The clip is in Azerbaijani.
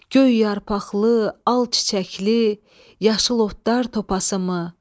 Göy yarpaqlı, al çiçəkli, yaşıl otlar topası mı?